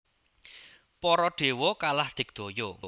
Para dewa kalah digdaya